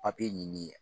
ɲini